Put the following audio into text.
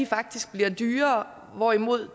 faktisk bliver dyrere hvorimod